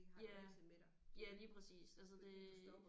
Ja ja lige præcis altså det